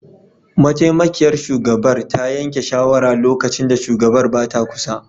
Mataimakiyar shugabar ta yanke shawara lokacin da shugabar ba ta kusa